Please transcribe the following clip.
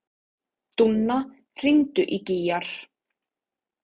Dúnna, hringdu í Gígjar.